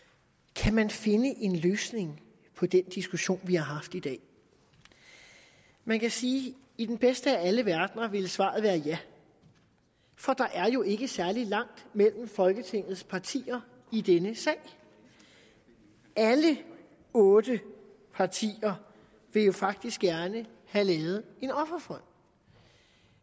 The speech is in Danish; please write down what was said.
kan man finde en løsning på den diskussion vi har haft i dag man kan sige at i den bedste af alle verdener ville svaret være ja for der er jo ikke særlig langt mellem folketingets partier i denne sag alle otte partier vil jo faktisk gerne have lavet en offerfond